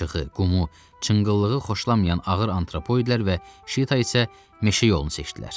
Palçığı, qumu, çınqıllığı xoşlamayan ağır antropoidlər və Şita isə meşə yolunu seçdilər.